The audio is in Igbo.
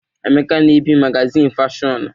Emeka na-ebi magazịnị fashọnụ